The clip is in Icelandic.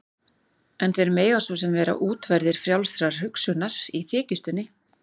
En þeir mega svo sem vera útverðir frjálsrar hugsunar- í þykjustunni.